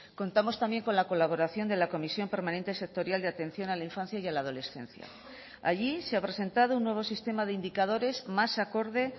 contamos también con la colaboración de la comisión permanente sectorial de atención a la infancia y a la adolescencia allí se ha presentado un nuevo sistema de indicadores más acorde